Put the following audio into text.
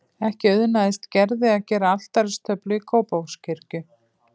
Ekki auðnaðist Gerði að gera altaristöflu í Kópavogskirkju.